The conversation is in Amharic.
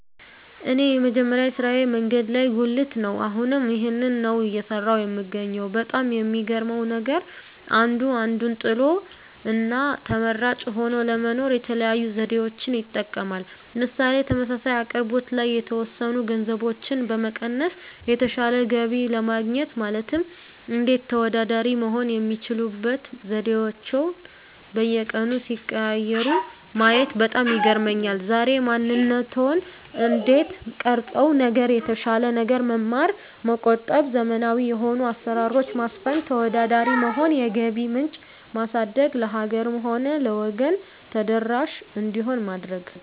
እኔ የመጀመሪያ ስራየ መንገድ ላይ ጉልት ነው አሁንም ይህንን ነው እየሰራሁ የምገኘው በጣም የሚገርመው ነገር አንዱ አንዱን ጥሎ እና ተመራጭ ሆኖ ለመኖር የተለያዩ ዘዴዎችን ይጠቀማል ምሳሌ ተመሳሳይ አቅርቦት ላይ የተወሰኑ ገንዘቦችን በመቀነስ የተሻለ ገቢ ለማግኘት ማለትም እንዴት ተወዳዳሪ መሆን የሚችሉበት ዘዴአቸዉን በየቀኑ ሲቀያይሩ ማየት በጣም ይገርመኛል ዛሬ ማንነትዎን እንዴት ቀረፀው ነገር የተሻለ ነገር መማር መቆጠብ ዘመናዊ የሆኑ አሰራሮች ማስፈን ተወዳዳሪ መሆን የገቢ ምንጭ ማሳደግ ለሀገርም ሆነ ለወገን ተደራሽ እንዲሆን ማድረግ